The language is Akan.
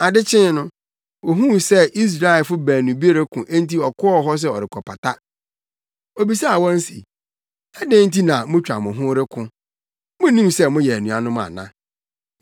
Ade kyee no, ohuu sɛ Israelfo baanu bi reko enti ɔkɔɔ hɔ sɛ ɔrekɔpata. Obisaa wɔn se, ‘Adɛn nti na moatwa mo ho reko? Munnim sɛ moyɛ anuanom ana?’